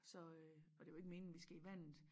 Så øh og det jo ikke meningen at vi skal i vandet